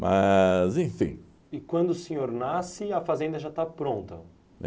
Mas, enfim... E quando o senhor nasce, a fazenda já está pronta?